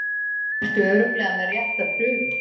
Ertu örugglega með rétta prufu?